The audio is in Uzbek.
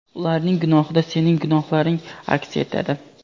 ularning gunohida sening gunohlaring aks etadi.